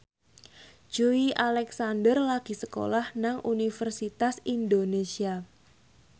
Joey Alexander lagi sekolah nang Universitas Indonesia